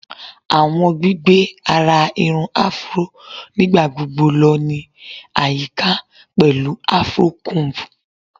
Awọn gbigbe ara irun Afro nigbagbogbo lọ ni ayika pẹlu afro comb